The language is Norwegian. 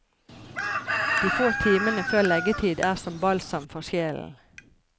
De få timene før leggetid er som balsam for sjelen.